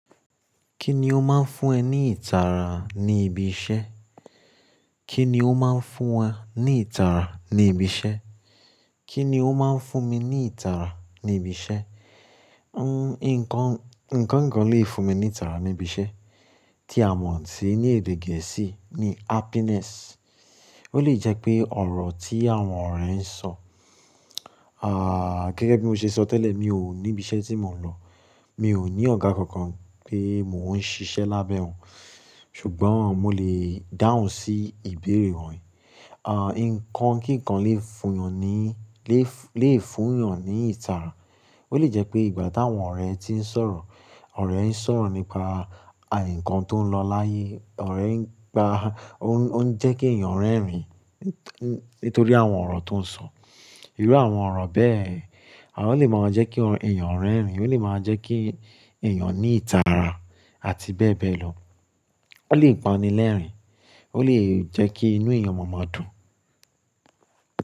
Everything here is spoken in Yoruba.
Kí ni ó máa ń fún ẹ ní ìtara ní ibi iṣẹ́? Kí ni ó máa ń fún wa ní ìtara ní ibi iṣẹ́? Kí ni ó máa ń fún mi ní ìtara ní ibi iṣẹ́? Nǹkan, nǹkan kan lè fún mi ní ìtara ní ibi iṣẹ́ tí a mọ̀ sí ní èdè gẹ̀ẹ́sì ni happiness. Ó lè jẹ́ pé ọ̀rọ̀ tí àwọn ọ̀rẹ́ ń sọ. Ah, gẹ́gẹ́ bí mo ṣe sọ tẹ́lẹ̀, mi ò ní ibi iṣẹ́ tí mò ń lọ. Mi ò ní ọ̀gá kankan pé mò ń ṣiṣẹ́ lábẹ́ òun. Ṣùgbọ́n mo lè dáhùn sí ìbéèrè rẹ̀. Ah, nǹkan kíkan lè fún ènìyàn ní, lè fún, lè fún ènìyàn ní ìtara. Ó lè jẹ́ pé ìgbà táwọn ọ̀rẹ́ ti ń sọ̀rọ̀, ọ̀rẹ́ ń sọ̀rọ̀ nípa, àyè nǹkan tó ń lọ láyé. Ọ̀rẹ́ ń gba, ó ń jẹ́ kí ẹ̀yàn rẹ́rìn-ín nítorí àwọn ọ̀rọ̀ tó ń sọ. Irú àwọn ọ̀rọ̀ bẹ́ẹ̀, àwọn ọ̀rọ̀ lè máa jẹ́ kí ẹ̀yàn rẹ́rìn-ín, ó lè máa jẹ́ kí ẹ̀yàn ní ìtara àti bẹ́ẹ̀ bẹ́ẹ̀ lọ. Ó lè pa ni lẹ́rìn-ín, ó lè jẹ́ kí inú ẹ̀yàn máa dùn.